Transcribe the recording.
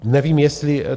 Nevím, jestli...